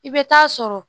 I bɛ taa sɔrɔ